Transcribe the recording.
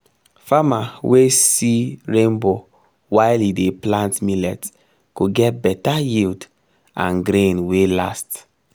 farmer wey see rainbow while e dey plant millet go get better yield and grain wey last